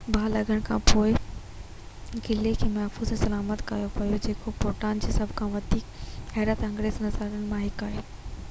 باهه لڳڻ کان پوءِ قلعي کي محفوظ ۽ سلامت ڪيو ويو جيڪو ڀوٽان جي سڀ کان وڌيڪ حيرت انگيز نظارن مان هڪ آهي